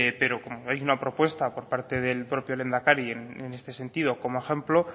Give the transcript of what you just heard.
pero como veis una propuesta por parte del propio lehendakari en este sentido como ejemplo